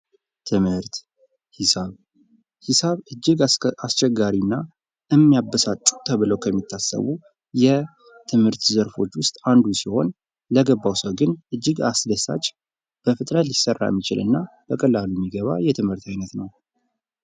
ትምህርት ፦ ሒሳብ ፦ ሒሳብ እጅግ አስቸጋሪና የሚያበሳጩ ተብለው ከሚታሰቡ የትምህርት ዘርፎች ውስጥ አንዱ ሲሆን ለገባው ሰው ግን እጅግ አስደሳች ፣ በፍጥነት ሊሰራ የሚችል እና በቀላሉ የሚገባ የትምህርት አይነት ነው ።